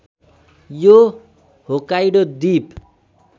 यो होक्काइडो द्वीप